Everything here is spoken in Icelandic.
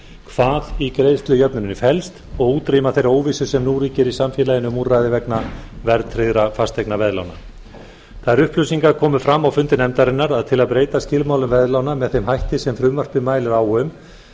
hvað í greiðslujöfnuninni felst og útrýma þeirri óvissu sem nú ríkir í samfélaginu um úrræði vegna verðtryggðra fasteignaveðlána þær upplýsingar komu fram á fundi nefndarinnar að til að breyta skilmálum veðlána með þeim hætti sem frumvarpið mælir á um